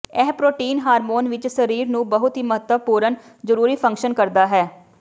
ਇਹ protein hormone ਵਿਚ ਸਰੀਰ ਨੂੰ ਬਹੁਤ ਹੀ ਮਹੱਤਵਪੂਰਨ ਜ਼ਰੂਰੀ ਫੰਕਸ਼ਨ ਕਰਦਾ ਹੈ